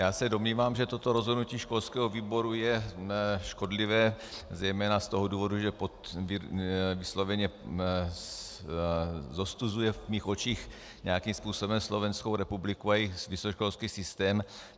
Já se domnívám, že toto rozhodnutí školského výboru je škodlivé zejména z toho důvodu, že vysloveně zostuzuje v mých očích nějakým způsobem Slovenskou republiku a jejich vysokoškolský systém.